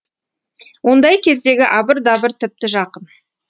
ондай кездегі абыр дабыр тіпті жақын